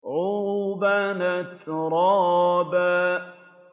عُرُبًا أَتْرَابًا